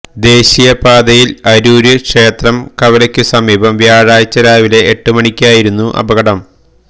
ദേശീയപാതയില് അരൂര് ക്ഷേത്രം കവലക്കു സമീപം വ്യാഴാഴ്ച രാവിലെ എട്ട് മണിക്കായിരുന്നു അപകടം